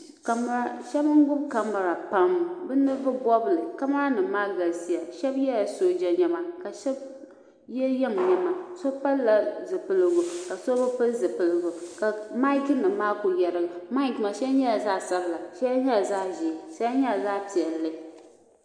shab n gbubi kamɛra bi ninvuɣu bobli kamɛra nim maa galisiya shab yɛla sooja niɛma ka shab yɛ yiŋ niɛma so pilila zipiligu ka so bi pili zipiligu ka maik nim maa ku yɛrigi maik maa shɛli nyɛla zaɣ sabila shɛli nyɛla zaɣ ʒiɛ shɛli nyɛla zaɣ piɛlli